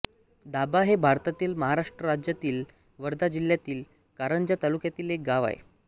दाभा हे भारतातील महाराष्ट्र राज्यातील वर्धा जिल्ह्यातील कारंजा तालुक्यातील एक गाव आहे